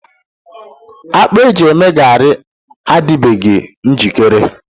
Akpu eji eme garị adịbeghị njikere.